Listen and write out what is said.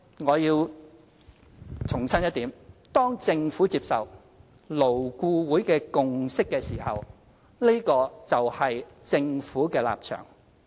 我要重申一點，當政府接受勞顧會的共識時，這個就是政府的立場。